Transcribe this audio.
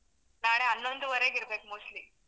ನಾಳೆ ಹನ್ನೊಂದುವರೆಗೆ ಇರ್ಬೇಕು mostly .